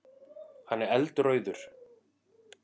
Hann er eldrauður.